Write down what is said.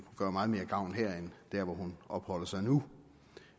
gøre meget mere gavn her end der hvor hun opholder sig nu